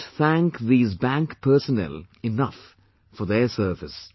We cannot thank these bank personnel enough for their service